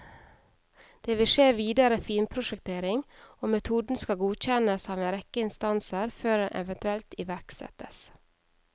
Det vil skje videre finprosjektering, og metoden skal godkjennes av en rekke instanser før den eventuelt iverksettes.